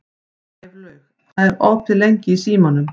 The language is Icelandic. Gæflaug, hvað er opið lengi í Símanum?